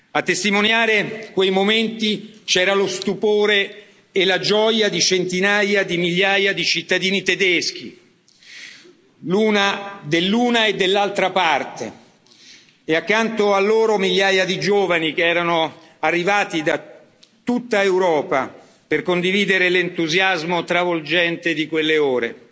A testimoniare di quei momenti c'era lo stupore e la gioia di centinaia di migliaia di cittadini tedeschi dell'una e dell'altra parte e, accanto a loro, migliaia di giovani che erano arrivati da tutta Europa per condividere l'entusiasmo travolgente di quelle ore.